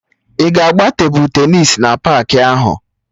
Ị ga-agba tebụl tenịs na paakị ahụ